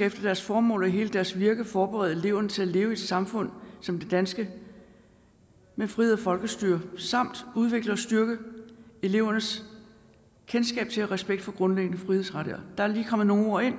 efter deres formål og hele deres virke skal forberede eleverne til at leve i et samfund som det danske med frihed og folkestyre samt udvikle og styrke elevernes kendskab til og respekt for grundlæggende frihedsrettigheder der er lige kommet nogle ord ind